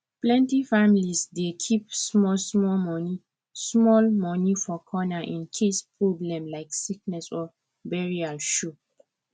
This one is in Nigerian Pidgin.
plenty families dey keep small small money small money for corner in case problem like sickness or burial show